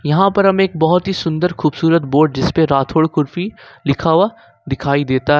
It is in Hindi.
यहां पर हम एक बहोत ही सुंदर खूबसूरत बोर्ड जिस पे राठौर कुल्फी लिखा हुआ दिखाई देता है।